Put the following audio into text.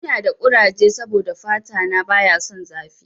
Ina da kuraje saboda fata na baya son zafi.